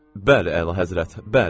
Bəli, əlahəzrət, bəli!